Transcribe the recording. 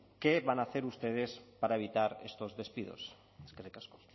qué van a hacer ustedes para evitar estos despidos eskerrik asko